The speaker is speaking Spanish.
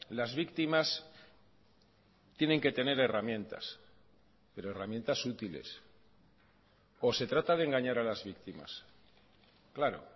las víctimas tienen que tener herramientas pero herramientas útiles o se trata de engañar a las víctimas claro